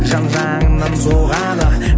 жан жағыңнан соғады